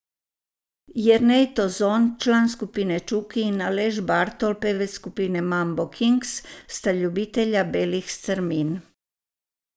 Jernej Tozon, član skupine Čuki, in Aleš Bartol, pevec skupine Mambo Kings, sta ljubitelja belih strmin.